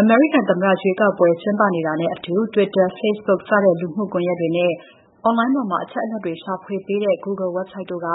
အမေရိကန်သမ္မတ ရွေးကောက်ပွဲ ကျင်းကနေတာနဲ့အတူ Twitter, Facebook စတဲ့လူမှုကွန်ယက်တွေနဲ့ Online ပေါ်မှာ အချက်အလက်ရှာဖွေပေးတဲ့ Google website တို့က